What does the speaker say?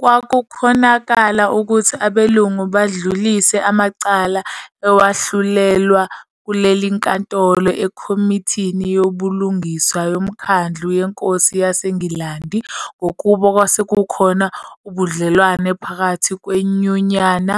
Kwakukhonakala ukuthi abelungu badlulise amacala ewahlulelwa kulelinkantolo Ekhomithini Yobulungiswa Yomkhandlu Yenkosi yaseNgilandi ngokuba kwakusekhona ubudlelwane ngaphakathi kweNyunyana,